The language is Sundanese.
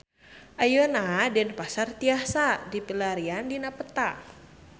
Ayeuna Denpasar tiasa dipilarian dina peta